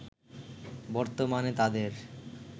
বর্তমানে তাদের